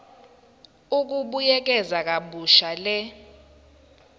ukubuyekeza kabusha le